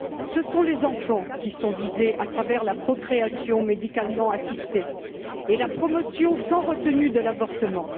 Ce sont les enfants qui sont visés à travers la procréation médicalement assistée et la promotion sans retenue de l'avortement.